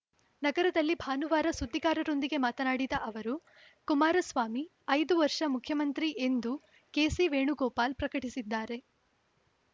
ನಗರದಲ್ಲಿ ಭಾನುವಾರ ಸುದ್ದಿಗಾರರೊಂದಿಗೆ ಮಾತನಾಡಿದ ಅವರು ಕುಮಾರಸ್ವಾಮಿ ಐದು ವರ್ಷ ಮುಖ್ಯಮಂತ್ರಿ ಎಂದು ಕೆಸಿ ವೇಣುಗೋಪಾಲ್‌ ಪ್ರಕಟಿಸಿದ್ದಾರೆ